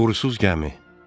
Uğursuz gəmi.